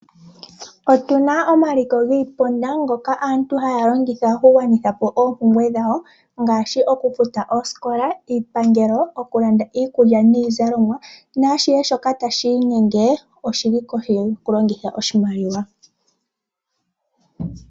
Otu na omaliko giiponda ngoka aantu haya longitha okugwanitha po oompumbwe dhawo ngaashi okufuta oosikola, iipangelo, okulanda iikulya niizalomwa naashihe shoka tashi inyenge oshi li kohi yokulongitha oshimaliwa.